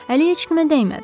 Əli heç kimə dəymədi.